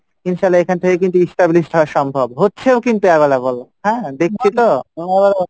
ইনশাল্লাহ এখান থেকে কিন্তু established হওয়া সম্ভব, হচ্ছেও কিন্তু available হ্যাঁ দেখছি তো